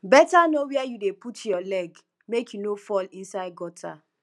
beta know where you dey put your leg make you no fall inside gutter